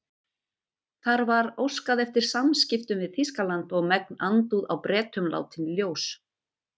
Þar var óskað eftir samskiptum við Þýskaland og megn andúð á Bretum látin í ljós.